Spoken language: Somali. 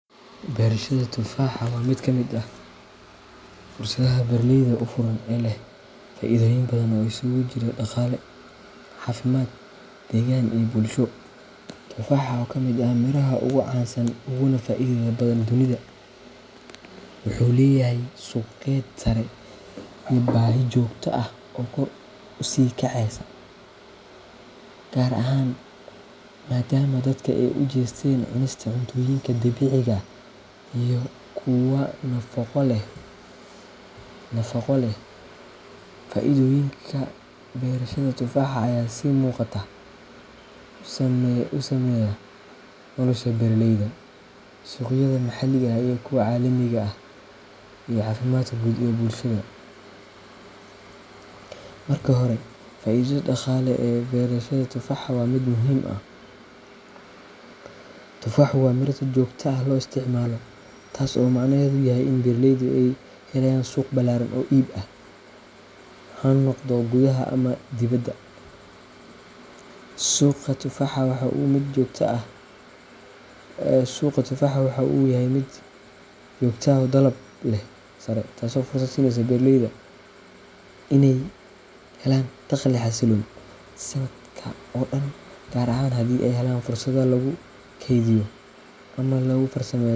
Beerashada tufaaxa waa mid ka mid ah fursadaha beeraleyda u furan ee leh faa’iidooyin badan oo isugu jira dhaqaale, caafimaad, deegaan, iyo bulsho. Tufaaxa, oo ka mid ah miraha ugu caansan uguna faa’iidada badan dunida, wuxuu leeyahay qiimo suuqeed sare iyo baahi joogto ah oo kor u sii kacaysa, gaar ahaan maadaama dadka ay u jeesteen cunista cuntooyinka dabiiciga ah iyo kuwa nafaqo leh. Faa’iidooyinka beerashada tufaaxa ayaa si muuqata u saameeya nolosha beeraleyda, suuqyada maxalliga ah iyo kuwa caalamiga ah, iyo caafimaadka guud ee bulshada. Marka hore, faa’iidada dhaqaale ee beerashada tufaaxa waa mid muhiim ah. Tufaaxu waa miro si joogto ah loo isticmaalo, taas oo macnaheedu yahay in beeraleyda ay helayaan suuq ballaaran oo iib ah, ha noqdo gudaha ama dibadda. Suuqa tufaaxa waxa uu yahay mid joogto ah oo leh dalab sare, taasoo fursad siinaysa beeraleyda inay helaan dakhli xasilloon sanadka oo dhan, gaar ahaan haddii ay helaan fursado lagu kaydiyo ama lagu farsameeyo.